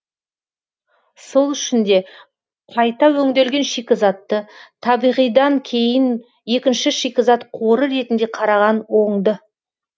сол үшін де қайта өңделген шикізатты табиғидан кейін екінші шикізат қоры ретінде қараған оңды